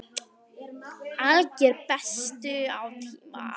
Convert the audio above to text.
Alger bestun á tíma.